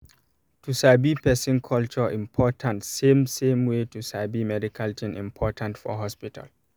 to sabi person um culture important same same way to sabi medical thing important for hospital